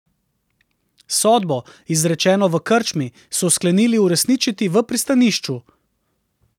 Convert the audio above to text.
Sodbo, izrečeno v krčmi, so sklenili uresničiti v pristanišču.